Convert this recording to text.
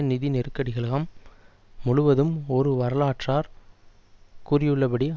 நிதி நெருக்கடிக்கலாம் முழுவதும் ஒரு வரலாற்றார் கூறியுள்ளபடி